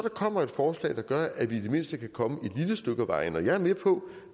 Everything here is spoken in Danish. kommer et forslag der gør at vi i det mindste kan komme et lille stykke ad vejen og jeg er med på